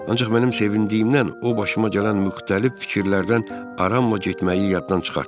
Ancaq mənim sevindiyimdən o başıma gələn müxtəlif fikirlərdən aramla getməyi yaddan çıxartdım.